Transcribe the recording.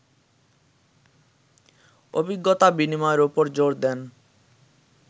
অভিজ্ঞতা বিনিময়ের ওপর জোর দেন